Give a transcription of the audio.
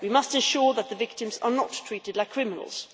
We must ensure that the victims are not treated like criminals.